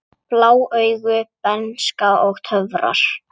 Blá augu, bernska og töfrar